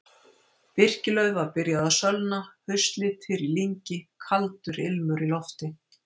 Birkilauf var byrjað að sölna, haustlitir í lyngi, kaldur ilmur í lofti.